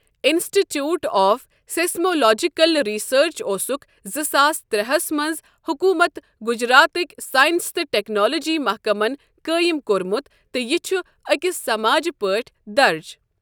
انسٹی ٹیوٗٹ of Seismological Research اوسُکھ زٕ ساس ترٛے ہس منٛز حکوٗمتہِ گجراتٕکۍ ساینس تہٕ ٹیکنالوجی محکمن قٲیِم کوٚرمُت تہٕ یہِ چھُ أکِس سماجہٕ پٲٹھۍ درٕج۔